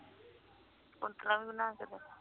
ਕੁੰਠਲਾ ਵੀ ਬਣਾ ਕ ਦੋ